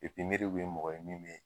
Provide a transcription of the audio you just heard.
bɛ mɔgɔ ye min bɛ.